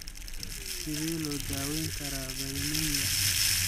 Sidee loo daweyn karaa valinemia?